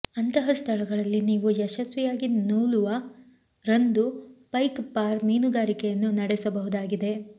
ಅಂತಹ ಸ್ಥಳಗಳಲ್ಲಿ ನೀವು ಯಶಸ್ವಿಯಾಗಿ ನೂಲುವ ರಂದು ಪೈಕ್ ಫಾರ್ ಮೀನುಗಾರಿಕೆಯನ್ನು ನಡೆಸಬಹುದಾಗಿದೆ